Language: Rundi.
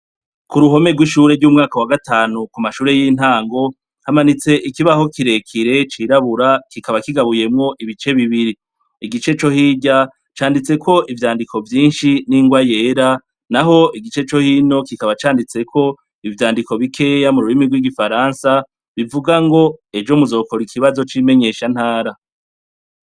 Kuruhome rwishure ryumwaka wagatanu kumashure yintango hamanitse ikibaho kirekire cirabura kikaba kigabuyemwo ibice bibiri igice cohirya canditseko ivyandiko vyinshi ningwa yera naho igice cohino kikaba canditseko ivyandiko bikeya mururimi rwigifaransa bivuga ngo ejo muzokora ikibazo cimenyeshantara